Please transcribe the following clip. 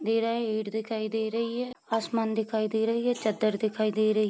दे रहा है ईंट दिखाई दे रही है आसमान दिखाई दे रही है चद्दर दिखाई दे रही --